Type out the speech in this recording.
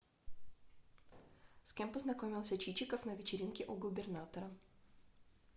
с кем познакомился чичиков на вечеринке у губернатора